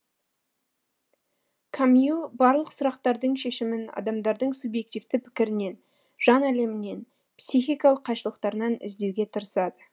камю барлық сұрақтардың шешімін адамдардың субективті пікірінен жан әлемінен психикалық қайшылықтарынан іздеуге тырысады